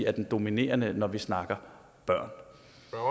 er den dominerende når vi snakker